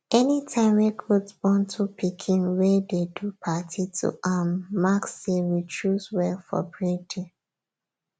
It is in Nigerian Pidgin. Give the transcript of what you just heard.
anytime wey goat born two pikin wey dey do party to um mark say we choose well for breeding